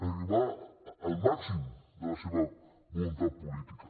arribar al màxim de la seva voluntat política